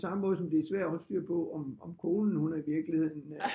På samme måde som det er svært at holde styr på om konen hun er i virkeligheden